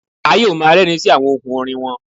A yoo ma rẹrin si awọn ohun orin wọn